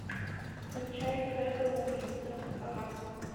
включай кредо убийцы ха ха